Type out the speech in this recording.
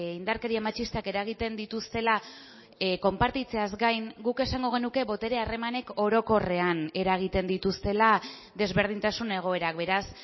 indarkeria matxistak eragiten dituztela konpartitzeaz gain guk esango genuke botere harremanek orokorrean eragiten dituztela desberdintasun egoerak beraz